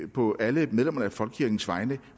på alle medlemmerne af folkekirkens vegne